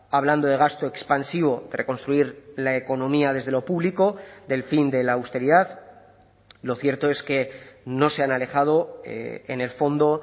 hablando de gasto expansivo de reconstruir la economía desde lo público del fin de la austeridad lo cierto es que no se han alejado en el fondo